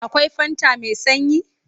Akwai fanta mai sanyi?